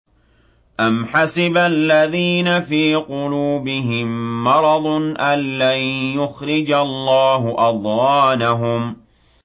أَمْ حَسِبَ الَّذِينَ فِي قُلُوبِهِم مَّرَضٌ أَن لَّن يُخْرِجَ اللَّهُ أَضْغَانَهُمْ